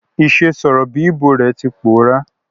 Ìse sọ̀rọ̀ bi Igbo re ti pòórá